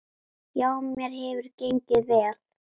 Já, mér hefur gengið vel.